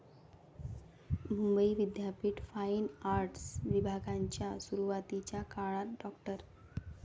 मुंबई विद्यापीठ fine arts विभागाच्या सुरुवातीच्या काळात डॉ.